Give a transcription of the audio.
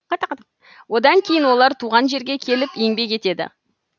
одан кейін олар туған жерге келіп еңбек етеді